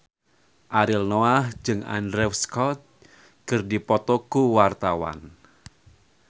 Ariel Noah jeung Andrew Scott keur dipoto ku wartawan